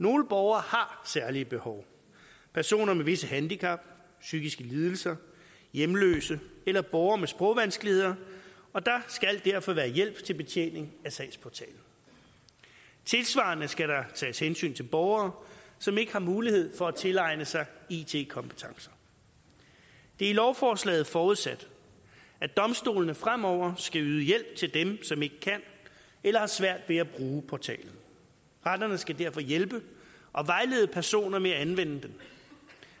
nogle borgere har særlige behov personer med visse handicap psykiske lidelser hjemløse eller borgere med sprogvanskeligheder og der skal derfor være hjælp til betjening af sagsportalen tilsvarende skal der tages hensyn til borgere som ikke har mulighed for at tilegne sig it kompetencer det er i lovforslaget forudsat at domstolene fremover skal yde hjælp til dem som ikke kan eller har svært ved at bruge portalen retterne skal derfor hjælpe og vejlede personer med at anvende dem